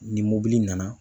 Ni mobili nana.